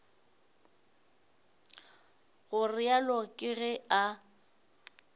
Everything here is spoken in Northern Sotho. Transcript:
go realo ke ge a